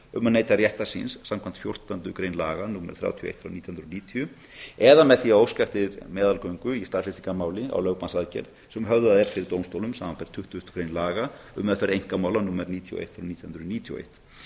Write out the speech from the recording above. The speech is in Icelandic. að neyta réttar síns samkvæmt fjórtándu grein laga númer þrjátíu og eitt frá nítján hundruð og níutíu eða með því að óska eftir meðalgöngu í staðfestingarmáli á lögbannsaðgerð sem höfðað er fyrir dómstólum samanber tuttugustu grein laga um meðferð einkamála númer níutíu og eitt frá nítján hundruð níutíu og eitt